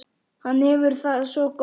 Hann hefur það svo gott.